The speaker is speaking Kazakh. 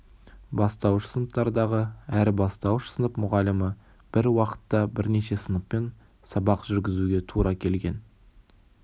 бастауыш сыныптарды әр бастауыш сынып мұғалімі бір уақытта бірнеше сыныппен сабақ жүргізуге тұра келген